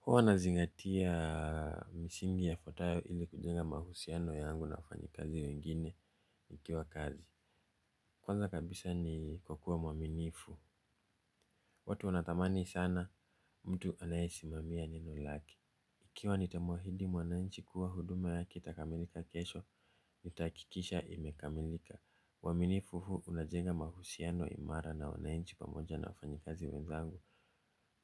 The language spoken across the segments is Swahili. Huwa na zingatia misingi yafuatayo ili kujenga mahusiano yangu na wafanyikazi wengine nikiwa kazi. Kwanza kabisa ni kukuwa mwaminifu. Watu wanatamani sana mtu anayesimamia neno lake. Ikiwa nitamuahidi mwananchi kuwa huduma yake itakamilika kesho nitahakikisha imekamilika uaminifu huu unajenga mahusiano imara na wananchi pamoja na wafanyikazi wenzangu.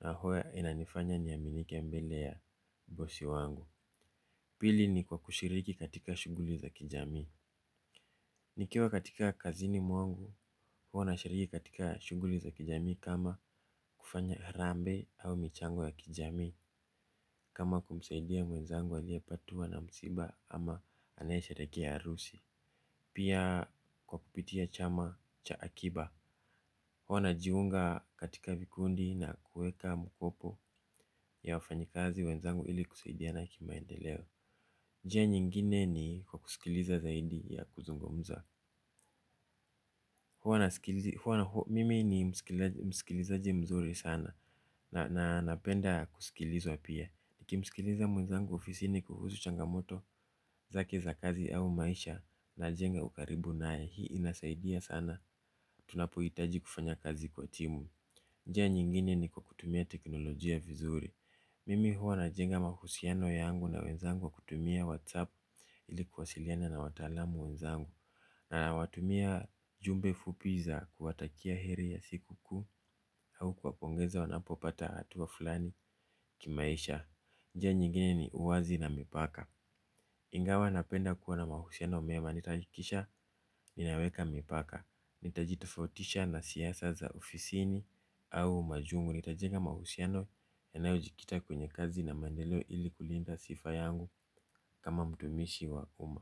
Na huwa inanifanya niaminike mbele ya bosi wangu. Pili ni kwa kushiriki katika shuguli za kijami. Nikiwa katika kazini mwangu, huwa na shiriki katika shughuli za kijamii kama kufanya harambee au michango ya kijamii. Kama kumsaidia mwenzangu aliye patwa na msiba ama anayesherehekea harusi. Pia kwa kupitia chama cha akiba, huwa na jiunga katika vikundi na kuweka mkopo ya wafanyikazi wenzangu ili kusaidiana kimaendeleo. Njia nyingine ni kwa kusikiliza zaidi ya kuzungumza. Mimi ni msikilizaji mzuri sana na napenda kusikilizwa pia. Niki msikiliza mwenzangu ofisini kuhusu changamoto zake za kazi au maisha najenga ukaribu naye hii inasaidia sana. Tunapohitaji kufanya kazi kwa timu. Njia nyingine ni kwa kutumia teknolojia vizuri. Mimi huwa na jenga mahusiano yangu na wenzangu kutumia whatsapp ili kuwasiliana na wataalam wenzangu na nawatumia jumbe fupi za kuwatakia heri ya siku kuu au kuwapongeza wanapopata hatua fulani kimaisha. Njia nyingine ni uwazi na mipaka. Ingawa napenda kuwa na mahusiano mema nitahakikisha ninaweka mipaka. Nitajitofautisha na siasa za ofisini au machungu nitajenga mahusiano yanayo jikita kwenye kazi na maendeleo ili kulinda sifa yangu kama mtumishi wa uma.